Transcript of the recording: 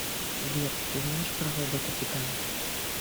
сбер ты знаешь про робота титан